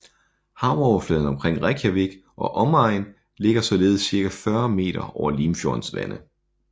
Havoverfladen omkring Reykjavik og omegn ligger således cirka 40 meter over Limfjordens vande